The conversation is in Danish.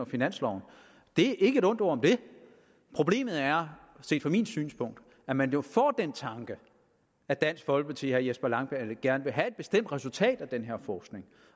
finansloven ikke et ondt ord om det problemet er set fra mit synspunkt at man jo får den tanke at dansk folkeparti og herre jesper langballe gerne vil have et bestemt resultat af den her forskning